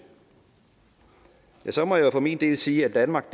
ja så må jeg jo for min del sige at danmark